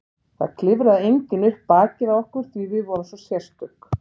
Það klifraði enginn upp bakið á okkur því við vorum svo sérstök.